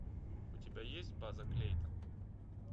у тебя есть база клейтон